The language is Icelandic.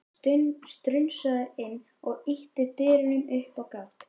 Strunsaði inn og ýtti dyrunum upp á gátt.